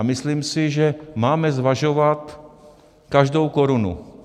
A myslím si, že máme zvažovat každou korunu.